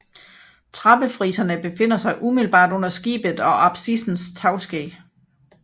Trappefriserne befinder sig umiddelbart under skibet og apsissens tagskæg